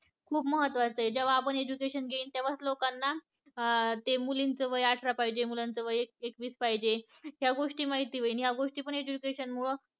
खूप महत्त्वाच आहे जेव्हा आपन education घेईन तेव्हाच लोकांना अं ते मुलींच वय अठरा पाहिजे मुलांच वय एक एकवीस पाहिजे ह्या गोष्टी माहिती होईल ह्या गोष्टी पन education मुळ